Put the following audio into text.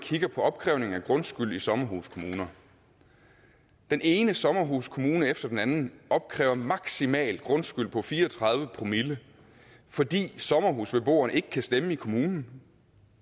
opkrævningen af grundskyld i sommerhuskommuner den ene sommerhuskommune efter den anden opkræver maksimal grundskyld på fire og tredive promille fordi sommerhusbeboerne ikke kan stemme i kommunen